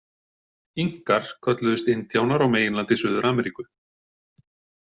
Inkar kölluðust indíánar á meginlandi Suður-Ameríku.